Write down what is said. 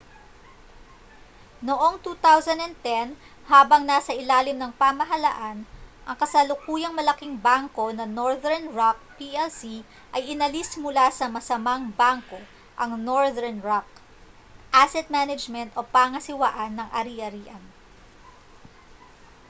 noong 2010 habang nasa ilalim ng pamahalaan ang kasalukuyang malaking bangko na northern rock plc ay inalis mula sa 'masamang bangko',' ang northern rock asset management o pangasiwaan ng ari-arian